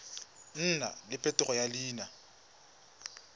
nna le phetogo ya leina